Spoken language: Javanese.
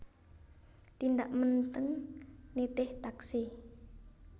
Tindak Menteng nitih taksi